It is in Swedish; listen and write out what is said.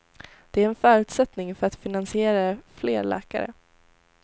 Det är en förutsättning för att finansiera fler läkare.